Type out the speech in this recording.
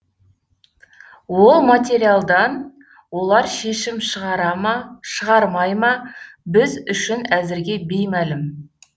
ол материалдан олар шешім шығара ма шығармай ма біз үшін әзірге беймәлім